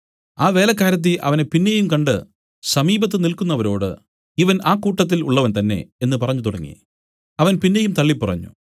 ആ വേലക്കാരത്തി അവനെ പിന്നെയും കണ്ട് സമീപത്ത് നില്ക്കുന്നവരോട് ഇവൻ ആ കൂട്ടരിൽ ഉള്ളവൻ തന്നേ എന്നു പറഞ്ഞുതുടങ്ങി അവൻ പിന്നെയും തള്ളിപ്പറഞ്ഞു